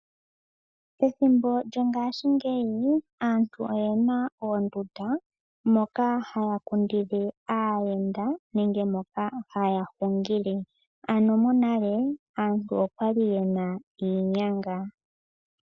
Ethimbo lyongashingeyi aantu oyena oondunda moka ya ya kundile aayenda nenge moka haya hungile ano monale aantu okwali yena iinyanga .